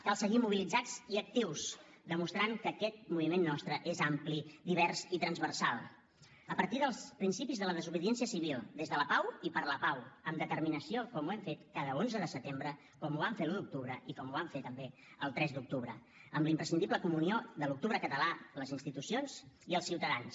cal seguir mobilitzats i actius demostrant que aquest moviment nostre és ampli divers i transversal a partir dels principis de la desobediència civil des de la pau i per la pau amb determinació com ho hem fet cada onze de setembre com ho vam fer l’un d’octubre i com ho vam fer també el tres d’octubre amb la imprescindible comunió de l’octubre català les institucions i els ciutadans